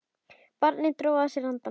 Barnið dró að sér andann.